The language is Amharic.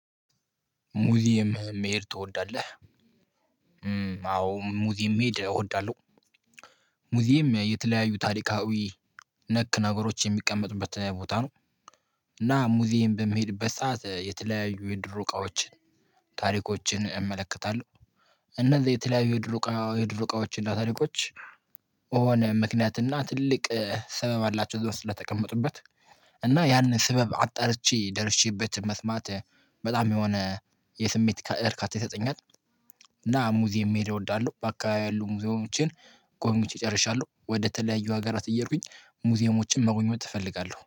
ሙዚየም መሄድ ትወዳለህ? አዎ ሙዚየም መሄድ እወዳለሁ። ሙዚየም የተለያዩ ታሪካዊ ነክ ነገሮች የሚቀመጥበት ቦታ ነው። እና ሙዚየም በሚሄድበት ሰዓት የተለያዩ የድሮ እቃዎችን ታሪኮችን እመለከታለሁ። እነዚያ የተለያዩ የድሮ እቃዎች እና ታሪኮች የሆነ ምክንያት እና ትልቅ ስምምዕላቸው እዛ ውስጥ ስለተቀመጡበት እና ያንን ስበብ አጣርቼ ደርሼበት መስማት በጣም የሆነ የስሜት እርካታ ይሰጠኛል። እና ሙዚየም መሄድ እወዳለሁ በአካባቢ ያሉ ሙዚየሞችን ጎብኝቼ ጨርሻሉ ወደ ተለያዩ ሀገራት እየሄድኩኝ ሙዚየሞችን መሆን እፈልጋለሁ